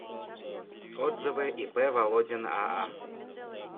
отзывы ип володин аа